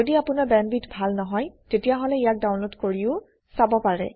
যদি আপোনাৰ বেণ্ডৱিডথ ভাল নহয় তেতিয়াহলে ইয়াক ডাউনলোড কৰিও চাব পাৰে